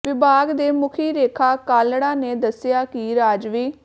ਵਿਭਾਗ ਦੇ ਮੁਖੀ ਰੇਖਾ ਕਾਲੜਾ ਨੇ ਦੱਸਿਆ ਕਿ ਰਾਜਵੀ